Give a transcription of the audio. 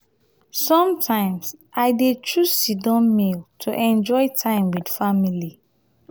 sometimes i dey choose sit-down meal to enjoy time with family.